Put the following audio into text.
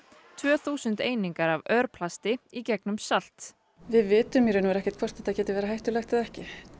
tvö þúsund einingar af örplasti í gegnum salt við vitum í raun og veru ekkert hvort þetta getur verið hættulegt eða ekki